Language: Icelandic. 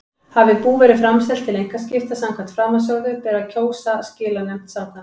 Hafi bú verið framselt til einkaskipta samkvæmt framansögðu ber að kjósa skilanefnd samkvæmt